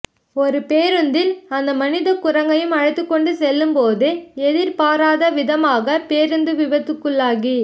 ஒரு பேருந்தில் அந்த மனிதக்குரங்கையும் அழைத்துக்கொண்டு செல்லும்போது எதிர்பாராதவிதமாக பேருந்து விபத்துக்குள்ளாகி